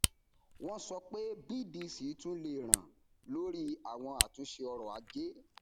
wọn sọ pé bdc tún lè ràn lórí àwọn àtúnṣe ọrọajé